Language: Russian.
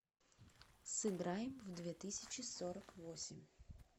сыграем в две тысячи сорок восемь